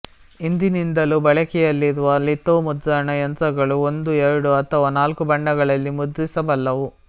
ಹಿಂದಿನಿಂದಲೂ ಬಳಕೆಯಲ್ಲಿರುವ ಲಿಥೋ ಮುದ್ರಣ ಯಂತ್ರಗಳು ಒಂದು ಎರಡು ಅಥವಾ ನಾಲ್ಕು ಬಣ್ಣಗಳಲ್ಲಿ ಮುದ್ರಿಸಬಲ್ಲವು